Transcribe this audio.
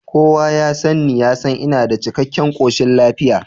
Kowa ya sanni ya san ina da cikkaken koshin lafiya